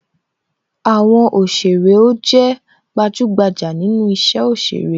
Àwọn òsèrè ó jé gbajugbaja nínú isẹ òsèré